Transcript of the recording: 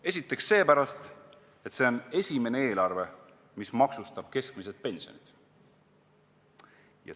Esiteks, see on esimene eelarve, mis maksustab keskmise pensioni.